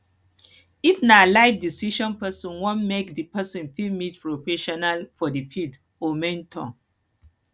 if na life decision person wan make di person fit meet professional for di field or mentor